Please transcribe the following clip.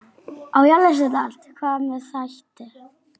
Hvað með þætti?